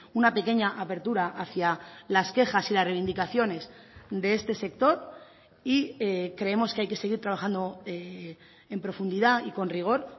una pequeña apertura hacia las quejas y las reivindicaciones de este sector y creemos que hay que seguir trabajando en profundidad y con rigor